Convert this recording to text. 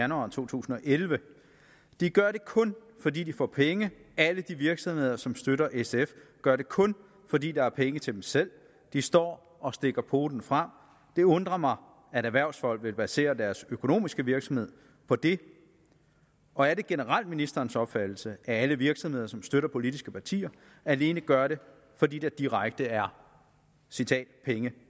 januar 2011 de gør det kun fordi de får penge alle de virksomheder som støtter sf gør det kun fordi der er penge til dem selv de står og stikker poten frem det undrer mig at erhvervsfolk vil basere deres økonomiske virksomhed på det og er det generelt ministerens opfattelse at alle virksomheder som støtter politiske partier alene gør det fordi der direkte er penge